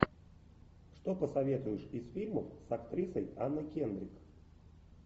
что посоветуешь из фильмов с актрисой анной кендрик